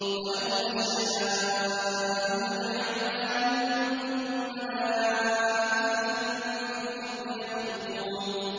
وَلَوْ نَشَاءُ لَجَعَلْنَا مِنكُم مَّلَائِكَةً فِي الْأَرْضِ يَخْلُفُونَ